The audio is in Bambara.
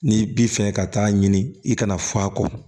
N'i bi fɛ ka taa ɲini i kana fɔ a kɔ